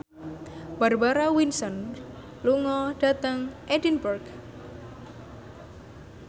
Barbara Windsor lunga dhateng Edinburgh